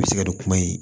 I bɛ se ka don kuma in